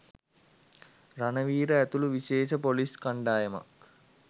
රණවීර ඇතුළු විශේෂ පොලිස්‌ කණ්‌ඩායමක්